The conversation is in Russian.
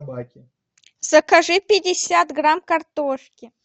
закажи пятьдесят грамм картошки